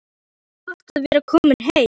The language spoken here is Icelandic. Mikið er gott að vera komin heim!